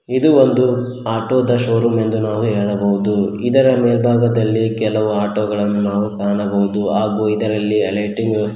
ಇದು ಒಂದು ಆಟೋ ದ ಶೋರೂಂ ಎಂದು ನಾವು ಹೇಳಬಹುದು ಇದರ ಮೇಲ್ಬಾಗದಲ್ಲಿ ಕೆಲವು ಆಟೋ ಗಳನ್ನು ನಾವು ಕಾಣಬಹುದು ಹಾಗು ಇದರಲ್ಲಿ ಲೈಟಿಂಗ್ ವ್ಯವಸ್ಥೆ--